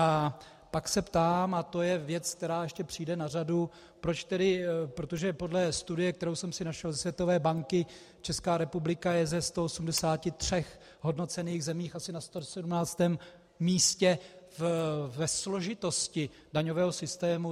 A pak se ptám - a to je věc, která ještě přijde na řadu, protože podle studie, kterou jsem si našel ze Světové banky, Česká republika je ze 183 hodnocených zemí asi na 117. místě ve složitosti daňového systému.